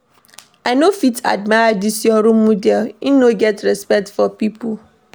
I no fit admire dis your role model, im no get respect for pipo.